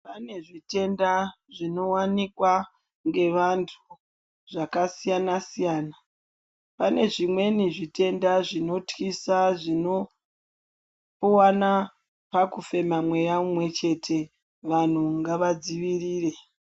Panezvitenda zvinowanikwa ngevantu zvakanakisa siyana panezvimweni zvitenda zvinotyisa zvinowana pakufema mweya mumwe chete vantu ngavadzivirire.